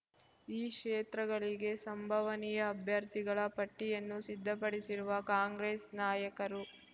ಈ ಕ್ಷೇತ್ರಗಳಿಗೆ ಸಂಭವನೀಯ ಅಭ್ಯರ್ಥಿಗಳ ಪಟ್ಟಿಯನ್ನು ಸಿದ್ಧಪಡಿಸಿರುವ ಕಾಂಗ್ರೆಸ್ ನಾಯಕರು